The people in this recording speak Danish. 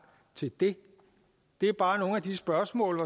til det det er bare nogle af de spørgsmål